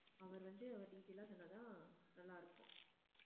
அவர் வந்து அவர் detail ஆ சொன்னாதான் நல்லாருக்கும்